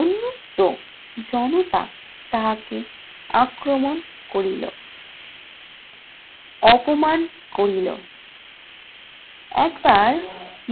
উন্মুক্ত জনতা তাহাকে আক্রমণ করিল, অপমান করিল। একবার